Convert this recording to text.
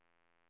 Mönsterås